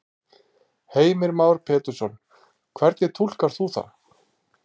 Heimir Már Pétursson: Hvernig túlkar þú það?